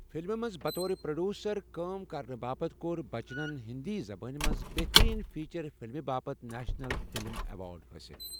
فِلمہِ منٛز بطورِ پروڈیوسر کٲم کرنہٕ باپتھ کوٚر بچنَن ہِنٛدی زبان منٛز بہتٔریٖن فیچر فِلمہِ باپتھ نیشنل فلم ایوارڈ حٲصِل۔